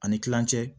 Ani kilancɛ